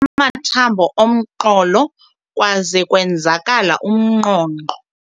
Waphuke amathambo omqolo kwaze kwenzakala umnqonqo.